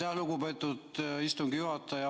Aitäh, lugupeetud istungi juhataja!